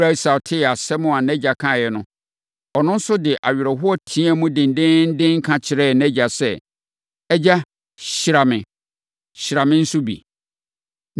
Ɛberɛ a Esau tee asɛm a nʼagya kaeɛ no, ɔno nso de awerɛhoɔ teaam dendeenden, ka kyerɛɛ nʼagya sɛ, “Agya! Hyira me. Hyira me nso bi!”